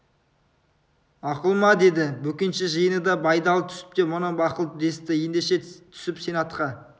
мақұл ма деді бөкенші жиыны да байдалы түсіп те бұны мақұл десті ендеше түсіп сен атқа